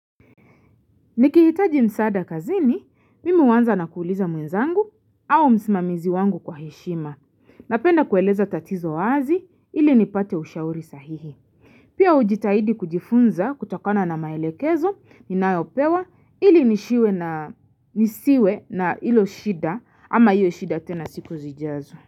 Niki hitaji msada kazini, mimi huwanza na kuuliza mwenzangu au msimamizi wangu kwa heshima. Napenda kueleza tatizo wazi, ili nipate ushauri sahihi. Pia ujitahidi kujifunza kutokona na maelekezo, minayopewa, ili nisiwe na ilo shida, ama hiyo shida tena siku zijazo.